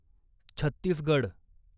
Chhattisgarh